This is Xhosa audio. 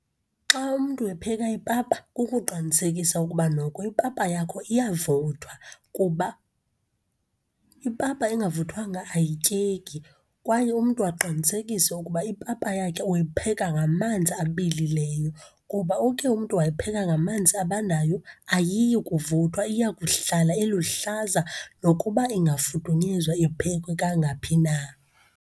Xa umntu epheka ipapa, kukuqinisekisa ukuba noko ipapa yakho iyavuthwa kuba ipapa engavuthwanga ayityeki. Kwaye umntu aqinisekise ukuba ipapa yakhe uyipheka ngamanzi abilileyo kuba uke umntu wayipheka ngamanzi abandayo, ayiyikuvuthwa, iyakuhlala iluhlaza, nokuba ingafudunyezwa, iphekwe kangaphi na.